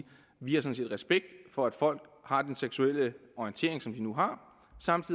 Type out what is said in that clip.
vi har respekt for at folk har den seksuelle orientering som de nu har